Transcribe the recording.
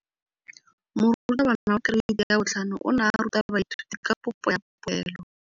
Moratabana wa kereiti ya 5 o ne a ruta baithuti ka popô ya polelô.